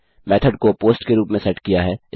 method को post के रूप में सेट किया है